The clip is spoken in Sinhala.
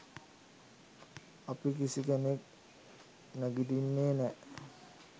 අපි කිසිකෙනෙක් නැගිටින්නෙ නෑ